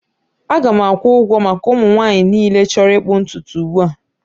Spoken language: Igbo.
Aga m akwụ ụgwọ maka ụmụ nwanyị niile chọrọ ịkpụ ntutu ugbu a